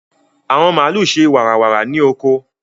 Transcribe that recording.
àwọn màlúù ṣe wàrà wàrà ní oko.